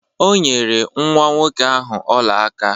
O nyere nwa nwoke ahụ ọla aka.